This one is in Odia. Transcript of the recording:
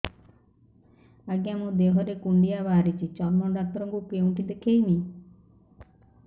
ଆଜ୍ଞା ମୋ ଦେହ ରେ କୁଣ୍ଡିଆ ବାହାରିଛି ଚର୍ମ ଡାକ୍ତର ଙ୍କୁ କେଉଁଠି ଦେଖେଇମି